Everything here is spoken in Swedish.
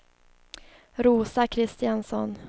Rosa Kristiansson